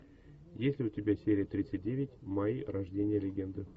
есть ли у тебя серия тридцать девять майя рождение легенды